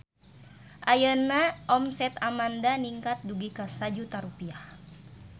Ayeuna omset Amanda ningkat dugi ka 1 juta rupiah